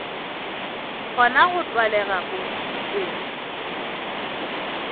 kgona go tlwalega go tšwetša